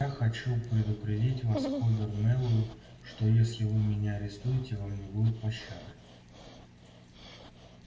а я хочу предупредить вас хобер мэллоу что если вы меня арестуете вам не будет пощады